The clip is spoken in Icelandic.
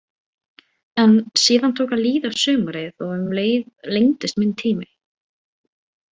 En síðan tók að líða á sumarið og um leið lengdist minn tími.